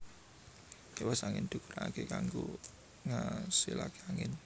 Kipas angin digunakake kanggo ngasilake angin